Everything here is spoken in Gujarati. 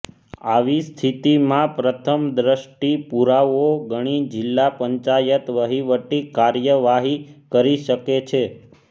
આવી સ્થિતિમાં પ્રથમ દ્રષ્ટિ પુરાવો ગણી જીલ્લા પંચાયત વહીવટી કાર્યવાહી કરી શકે છે